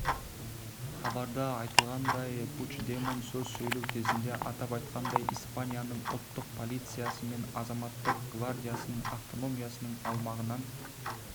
хабарда айтылғандай пучдемон сөз сөйлеу кезінде атап айтқанда испанияның ұлттық полициясы мен азаматтық гвардиясын автономиясының аумағынан